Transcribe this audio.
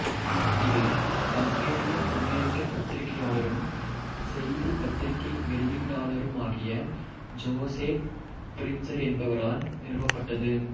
இது ஹங்கேரிய அமெரிக்கப் பத்திரிகையாளரும் செய்திப் பத்திரிகை வெளியீட்டாளருமாகிய ஜோசேப் புலிட்சர் என்பவரால் நிறுவப்பட்டது